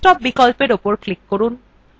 desktop বিকল্পwe উপর click করুন